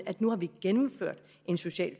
nu har vi gennemført en social